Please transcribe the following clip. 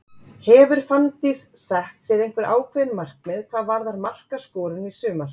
Hefur Fanndís sett sér einhver ákveðin markmið hvað varðar markaskorun í sumar?